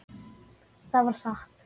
Það var satt.